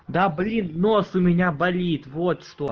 да блин нос у меня болит вот что